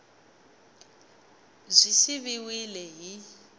b yi siviwile hi x